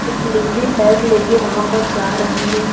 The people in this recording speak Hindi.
एक लेडी बैग लेके वहां पर जा रही है।